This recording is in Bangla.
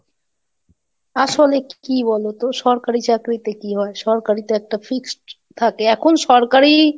আসলে কি বলতো? সরকারি চাকরিতে কি হয়? সরকারি তো একটা Fixed থাকে, এখন সরকারি,